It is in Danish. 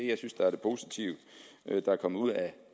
jeg synes er det positive der er kommet ud af